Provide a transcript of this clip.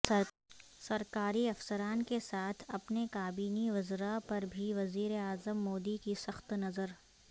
سرکاری افسران کے ساتھ اپنے کابینی وزراء پر بھی وزیراعظم مودی کی سخت نظر